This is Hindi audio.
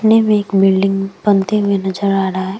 में एक बिल्डिंग बनती हुई नज़र आ रहा है।